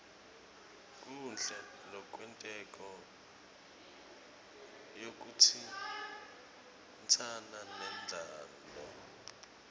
konkhe lokwentako kuyatsintsana nendalo